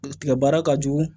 Tigɛ baara ka jugu